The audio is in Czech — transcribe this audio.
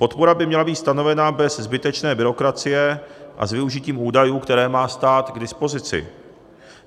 Podpora by měla být stanovena bez zbytečné byrokracie a s využitím údajů, které má stát k dispozici.